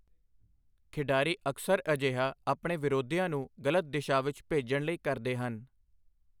ਖਿਡਾਰੀ ਅਕਸਰ ਅਜਿਹਾ ਆਪਣੇ ਵਿਰੋਧੀਆਂ ਨੂੰ ਗਲਤ ਦਿਸ਼ਾ ਵਿੱਚ ਭੇਜਣ ਲਈ ਕਰਦੇ ਹਨ।